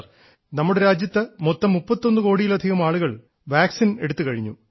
നമ്മുടെ രാജ്യം മൊത്തം 31 കോടിയിലധികം ആളുകൾ വാക്സിൻറെ കുത്തിവെയ്പ് എടുത്തുകഴിഞ്ഞു